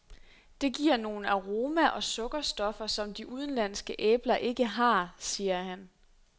Det giver nogle aroma og sukkerstoffer, som de udenlandske æbler ikke har, siger han.